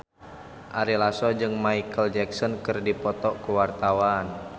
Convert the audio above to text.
Ari Lasso jeung Micheal Jackson keur dipoto ku wartawan